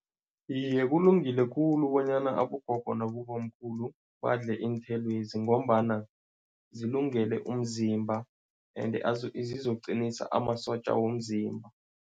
Iye, kulungile khulu bonyana abogogo nabobamkhulu badle iinthelwezi ngombana zilungele umzimba ende zizoqinisa amasotja womzimba.